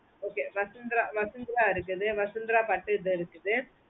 okay vasunthra vasunthra இருக்குது vasunthra பட்டு இது இருக்குது